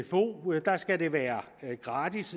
sfo at der skal det være gratis